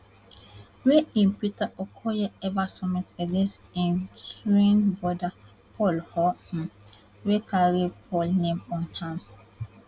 wey im peter okoye ever submit against im twin brother paul or um wey carry paul name on am